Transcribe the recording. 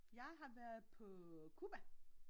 Jeg har været på Cuba!